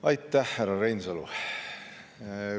Aitäh, härra Reinsalu!